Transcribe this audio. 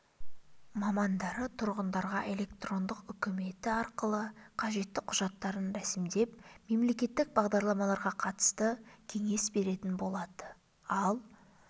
мамандары тұрғындарға электрондық үкіметі арқылы қажетті құжаттарын рәсімдеп мемлекеттік бағдарламаларға қатысты кеңес беретін болады ал